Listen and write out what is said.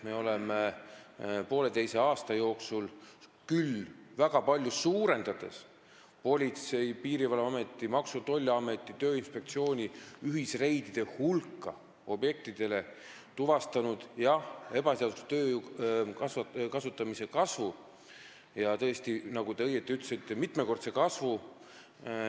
Me oleme pooleteise aasta jooksul väga palju suurendanud Politsei- ja Piirivalveameti, Maksu- ja Tolliameti ning Tööinspektsiooni ühisreidide hulka objektidele ja tõesti tuvastanud ebaseadusliku tööjõu kasutamise mitmekordse kasvu, nagu te õigesti ütlesite.